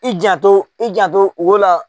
I janto i janto ho la.